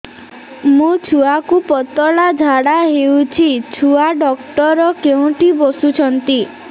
ମୋ ଛୁଆକୁ ପତଳା ଝାଡ଼ା ହେଉଛି ଛୁଆ ଡକ୍ଟର କେଉଁଠି ବସୁଛନ୍ତି